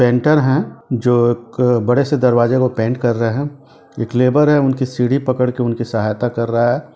Painter हैं जो एक बड़े से दरवाज़े को पेंट कर रहे हैं एक लेबर हैं उनकी सीढ़ी पकड़ के उनकी सहायता कर रहे हैं।